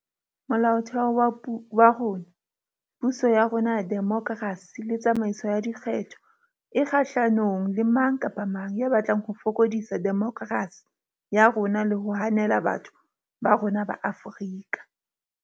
Mola otheo wa rona, puso ya rona ya demokerasi le tsamaiso ya dikgetho kgahlanong le mang kapa mang ya batlang ho fokodisa demokerasi ya rona le ho hanela batho ba rona ba Afrika.